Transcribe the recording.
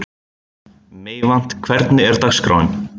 Meyvant, hvernig er dagskráin?